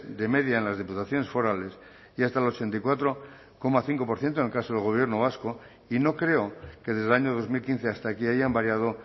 de media en las diputaciones forales y hasta el ochenta y cuatro coma cinco por ciento en el caso del gobierno vasco y no creo que desde el año dos mil quince hasta aquí hayan variado